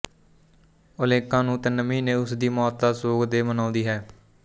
Olenka ਨੂੰ ਤਿੰਨ ਮਹੀਨੇ ਉਸਦੀ ਮੌਤ ਦਾ ਸ਼ੋਗ ਦੇ ਮਨਾਉਂਦੀ ਹੈ